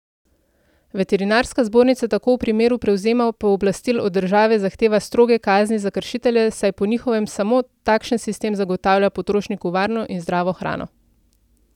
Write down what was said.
Veterinarska zbornica tako v primeru prevzema pooblastil od države zahteva stroge kazni za kršitelje, saj po njihovem samo takšen sistem zagotavlja potrošniku varno in zdravo hrano.